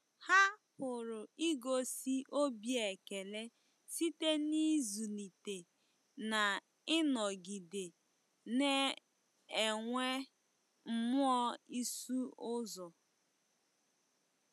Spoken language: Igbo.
Ha pụrụ igosi obi ekele site n'ịzụlite na ịnọgide na-enwe mmụọ ịsụ ụzọ.